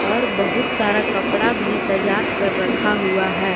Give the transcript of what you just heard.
और बहुत सारा कपड़ा भी सजा कर रखा हुआ है।